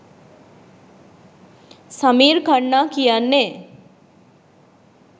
සමීර් ඛන්නා කියන්නේ